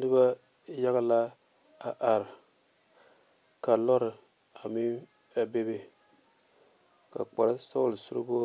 Noba yaga la a are ka lɔre a meŋ a be be ka kpare sɔglɔ sureba